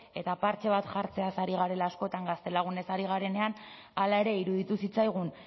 eta partxe bat jartzeaz ari garela askotan gaztelagunez ari garenean hala ere iruditu zitzaigun